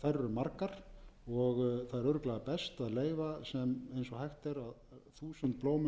margar og það er örugglega best að leyfa eins og hægt er þúsund blómum að